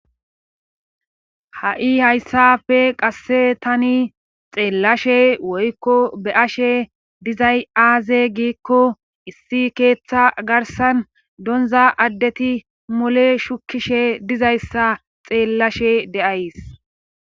hai' hayssafe qasse tani xeellashe woykko be ashe dizay aaze giikko issi keeththa garsan donza addeti mule shukishe dizayssa xeellashe deays.